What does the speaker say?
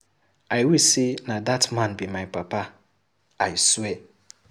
I wish say na dat man be my papa, I swear.